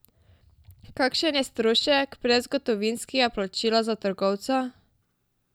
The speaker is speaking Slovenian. Kakšen je strošek brezgotovinskega plačila za trgovca?